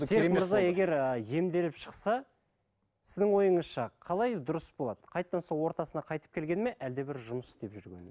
серік мырза егер ы емделіп шықса сіздің ойыңызша қалай дұрыс болады қайтадан сол ортасына қайтып келгені ме әлде бір жұмыс істеп жүргені ме